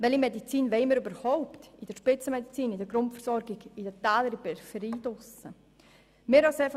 Welche Medizin wollen wir überhaupt in der Spitzenmedizin, in der Grundversorgung, in den Tälern, in der Peripherie?